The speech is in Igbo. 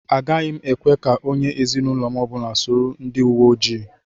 Agaghị ekwe ka onye ezinụlọ m ọbụla soro ndị uwe ojii.